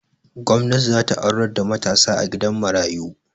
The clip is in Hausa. gwamnati za ta aurar da mataa a gidan mayaru